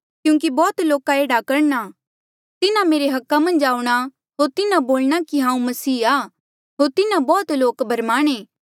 क्यूंकि बौह्त लोका एह्ड़ा करणा तिन्हा मेरे अधिकारा मन्झ आऊंणा होर तिन्हा बोलणा कि हांऊँ मसीह आ होर तिन्हा बौह्त लोक भरमाणे